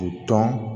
U tɔn